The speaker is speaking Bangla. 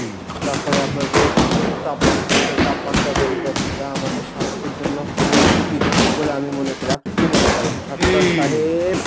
তারপরে আপনার রোদ তাপমাত্রা সহ তাপমাত্রা বেড়ে যাচ্ছে যা আমাদের জন্য খুবই ঝুঁকি বলে আমি মনে করি। আপনি কি মনে করেন? সাত্তার সাহেব।